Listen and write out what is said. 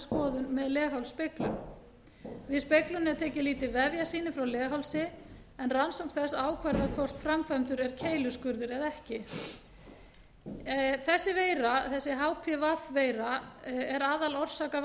skoðun með leghálsspeglun við speglunina er tekið lítið vefjasýni frá leghálsi en rannsókn þess ákvarðar hvort framkvæmdur er keiluskurður eða ekki þessi hpv veira er